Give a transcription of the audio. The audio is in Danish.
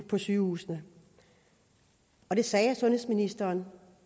på sygehusene og det sagde sundhedsministeren